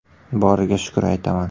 Boriga shukr aytaman.